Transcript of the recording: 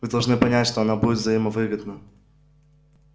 вы должны понять что она будет взаимовыгодна